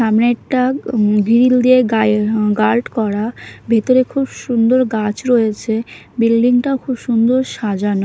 সামনে একটা উম গ্রিল দিয়ে গায়ে গার্ড করা ভেতরে খুব সুন্দর গাছ রয়েছে বিল্ডিং -টা খুব সুন্দর সাজানো।